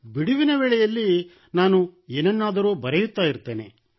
ಬಿಡುವಿನ ವೇಳೆಯಲ್ಲಿ ನಾನು ಏನನ್ನಾದರೂ ಬರೆಯುತ್ತಾ ಇರುತ್ತೇನೆ